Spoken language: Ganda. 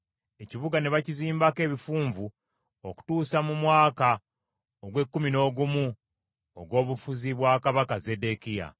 Ekibuga ne bakizimbako ebifunvu okutuusa mu mwaka ogw’ekkumi n’ogumu ogw’obufuzi bwa kabaka Zeddekiya.